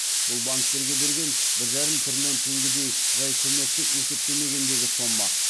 бұл банктерге берген бір жарым триллион теңгедей жай көмекті есептемегендегі сома